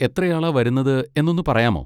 എത്രയാളാ വരുന്നത് എന്നൊന്ന് പറയാമോ?